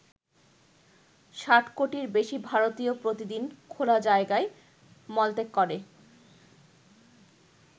ষাট কোটির বেশি ভারতীয় প্রতিদিন খোলা জায়গায় মলত্যাগ করে।